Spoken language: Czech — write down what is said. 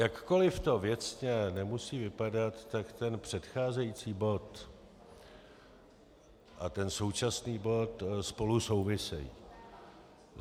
Jakkoliv to věcně nemusí vypadat, tak ten předcházející bod a ten současný bod spolu souvisejí.